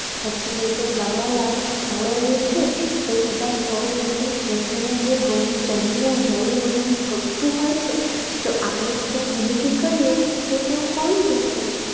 પછી એ જે ફરવાલાયક સ્થળો જે છે એ બધા સ્થળો ઉપર જવું બધાને ગમતું હોય છે જો આપણે જ ત્યાં ગંદકી કરીએ તો ત્યાં કોણ જશે?